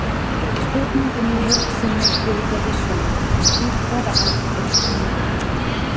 Spurningin í heild sinni hljóðaði svona: Í hvaða átt er humátt?